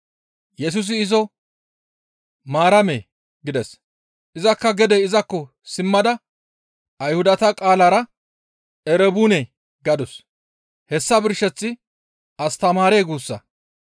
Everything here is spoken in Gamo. Yesusi izo, «Maaramee!» gides; izakka gede izakko simmada Ayhudata qaalara, «Erebuune!» gadus; hessa birsheththi, «Astamaaree!» guussa.